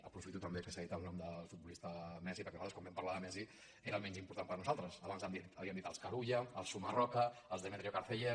aprofito també que s’ha dit el nom del futbolista messi perquè nosaltres quan vam parlar de messi era el menys important per a nosaltres abans havíem dit els carulla els sumarroca els demetrio carceller